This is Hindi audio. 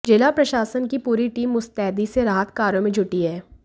जिला प्रशासन की पूरी टीम मुस्तैदी से राहत कार्यो में जुटी है